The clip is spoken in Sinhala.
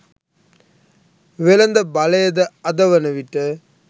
වෙළද බලයද අද වන විට